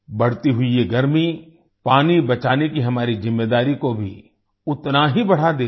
बढ़ती हुई ये गर्मी पानी बचाने की हमारी ज़िम्मेदारी को भी उतना ही बढ़ा देती है